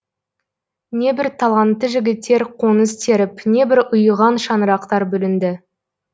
небір талантты жігіттер қоңыз теріп небір ұйыған шаңырақтар бүлінді